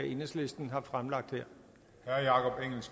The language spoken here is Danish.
enhedslisten kunne